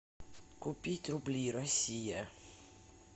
купить рубли россия